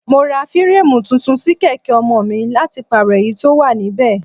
Mo ra fireemu tuntun sí kèké ọmọ mi láti pàrọ èyí tó wà níbẹ̀.